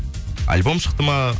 альбом шықты ма